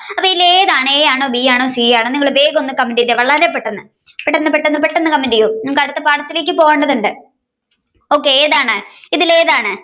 അപ്പൊ ഇതിൽ ഏതാണ് A ആണോ B ആണോ C ആണോ നിങ്ങൾ വേഗം ഒന്ന് കണ്ടെതിക്കെ വളരെ പെട്ടെന്നു പെട്ടെന്ന് പെട്ടെന്നു comment ചെയ്യൂ അടുത്ത പാടത്തേക്ക് പോകേണ്ടതുണ്ട് okay ഏതാണ് ഇതിൽ ഏതാണ്